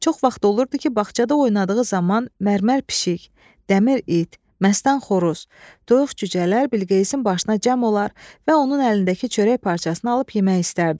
Çox vaxt olurdu ki, bağçada oynadığı zaman mərmər pişik, dəmir it, məstan xoruz, toyuq cücələr Bilqeyisin başına cəm olar və onun əlindəki çörək parçasını alıb yemək istərdilər.